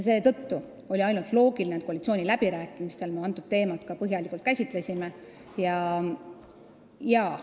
Seetõttu oli loogiline, et koalitsiooniläbirääkimistel me seda teemat põhjalikult käsitlesime.